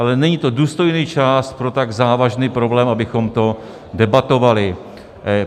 Ale není to důstojný čas pro tak závažný problém, abychom to debatovali.